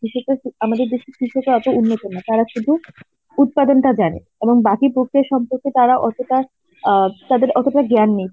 কৃষকরা তো আমাদের দেশের কৃষকরা এত উন্নত না, তারা শুধু উৎপাদনটা জানে এবং বাকি প্রক্রিয়া সম্পর্কে তারা অতটা অ্যাঁ তাদের অতটা জ্ঞান নেই